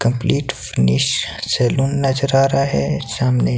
complete finish salon नजर आ रहा है सामने--